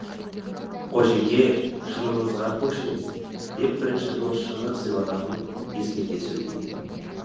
қожеке шыныңызға көшіңіз деп бірінші дос шыны сыйлағанын ескерте сөйлейді